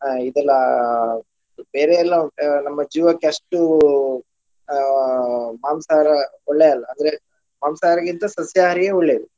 ಅಹ್ ಇದೆಲ್ಲಾ ಬೇರೆ ಎಲ್ಲಾ ಉಂಟ್ ನಮ್ಮ ಜೀವಕ್ಕೆ ಅಷ್ಟು ಆ ಮಾಂಸಾಹಾರ ಒಳ್ಳೆಯಲ್ಲ ಅಂದ್ರೆ ಮಾಂಸಾಹಾರಿಗಿಂತ ಸಸ್ಯಹಾರಿಯೇ ಒಳ್ಳೆದು.